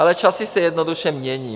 Ale časy se jednoduše mění.